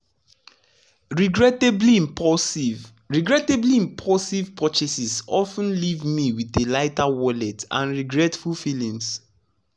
regrettably impulsive regrettably impulsive purchases of ten leave me with a lighter wallet and regretful feelings.